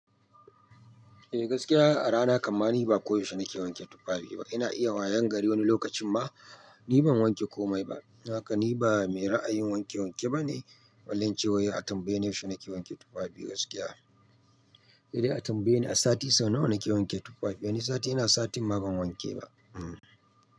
Eh gaskiya a rana kanma ni ba koyaushe nake wanke tufafi ba. Ina iya wayangare wani lokacin ma ni ban wanke komai ba. Haka ni ba mai ra'ayin wanke-wanke ba ne. Balle ince wai a tambaye yaushe nake wanke tufafi gaskiya. Saide a tambaye ni a sati sau nawa nake wanke tufafi? Wani sati ina satin ma ban wanke ba. Hmm.